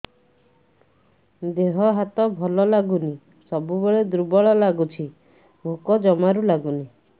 ଦେହ ହାତ ଭଲ ଲାଗୁନି ସବୁବେଳେ ଦୁର୍ବଳ ଲାଗୁଛି ଭୋକ ଜମାରୁ ଲାଗୁନି